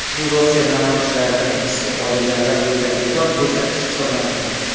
Bu Rossiya namoyishlarida hibsga olinganlar bo‘yicha rekord ko‘rsatkich hisoblanadi .